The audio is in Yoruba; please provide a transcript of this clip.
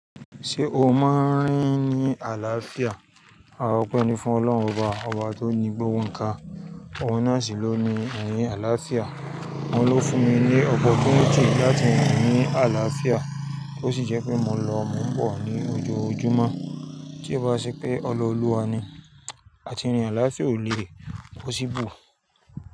Ṣé o máa ń rín ní àlàáfíà? A opẹ́ ní fún Ọlọ́run oba, ọba tó ní gbogbo nnkan. Ohun náà sì ló ni ẹ̀yìn àlàáfíà. Ọ́un ló fún mi ní opportunity láti rìn ní àlàáfíà, tó sì jẹ́ pé mo lọ mọ́nbọ̀ ní ojoojúmọ́. Tí e bá ṣe pé ọla Oluwa ni, àti rinrin alafia o léè possible.